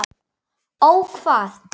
Ó hvað?